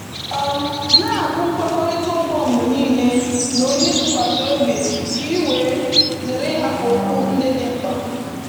um Na-agụ nkwekọrịta ụgwọ mgbe niile na onye ị tụkwasịrị obi ka i wee zere ịhapụ okwu ndị dị mkpa